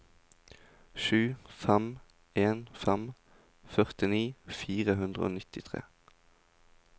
sju fem en fem førtini fire hundre og nittitre